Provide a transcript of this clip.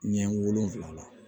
Ɲɛ wolonfila la